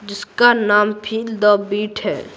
जिसका नाम feel the beat है।